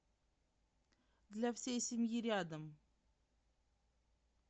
для всей семьи рядом